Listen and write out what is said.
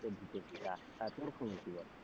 ঢুকেছিলা তা তোর খবর কি বল?